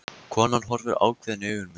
Konan horfir ákveðin í augu mín.